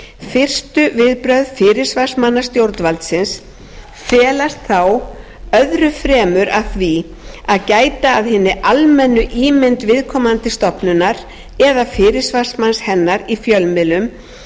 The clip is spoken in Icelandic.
fyrstu viðbrögð fyrirsvarsmanna stjórnvaldsins felast þá öðru fremur að því að gæta að hinni almennu ímynd viðkomandi stofnunar eða fyrirsvarsmanna hennar í fjölmiðlum